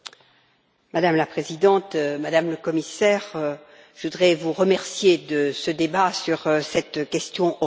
Madame la Présidente, Madame la Commissaire, je voudrais vous remercier de ce débat sur cette question orale.